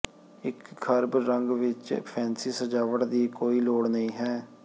ਇੱਕ ਖਰਬ ਰੰਗ ਵਿੱਚ ਫੈਂਸੀ ਸਜਾਵਟ ਦੀ ਕੋਈ ਲੋੜ ਨਹੀਂ ਹੈ